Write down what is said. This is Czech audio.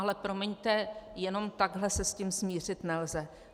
Ale promiňte, jenom takhle se s tím smířit nelze.